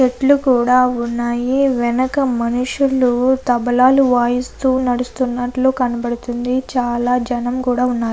చెట్లు కూడా ఉన్నాయి. వెనక మనుషులు తబలాలు వాయిస్తూ నడుస్తున్నట్లు కనబడుతుంది. చాలా జనం కూడా ఉన్నారు.